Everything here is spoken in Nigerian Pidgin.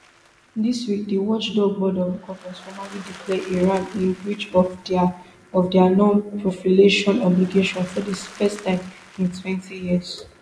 dis week di watchdog board of govnors formally declare iran in breach of dia of dia nonproliferation obligations for di first time in twenty years